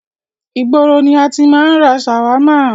Ìgboro ni a ti máa ń ra ṣàwámà.